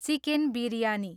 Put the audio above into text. chicken biryani